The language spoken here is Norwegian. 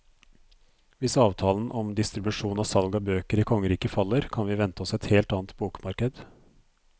Hvis avtalen om distribusjon og salg av bøker i kongeriket faller, kan vi vente oss et helt annet bokmarked.